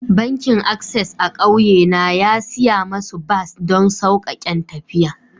Bankin access a'kauye na ya siya musu bas don saukaken tafiya.